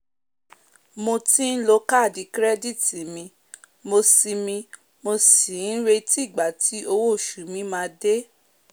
mo ti n lo kaadi kirẹditi mi mo sì mi mo sì n retí igba tí owo osu mi maa de